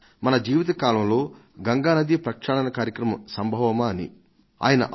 మన జీవిత కాలంలో గంగానది ప్రక్షాళన కార్యక్రమం సంవత్సరాల నుంచి నడుస్తోంది